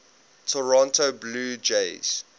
toronto blue jays